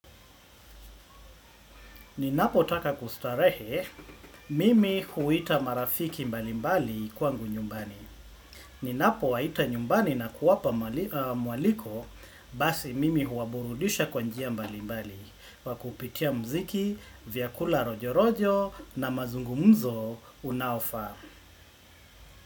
Ninapo taka kustarehe, mimi huita marafiki mbali mbali kwangu nyumbani. Ninapowaita nyumbani na kuwapa mwaliko, basi mimi huwaburudisha kwa njia mbali mbali. Kwa kupitia muziki, vyakula rojo rojo na mazungumzo unaofaa.